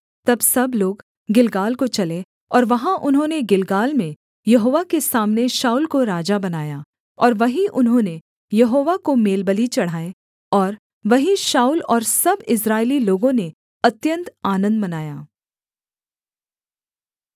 तब सब लोग गिलगाल को चले और वहाँ उन्होंने गिलगाल में यहोवा के सामने शाऊल को राजा बनाया और वहीं उन्होंने यहोवा को मेलबलि चढ़ाए और वहीं शाऊल और सब इस्राएली लोगों ने अत्यन्त आनन्द मनाया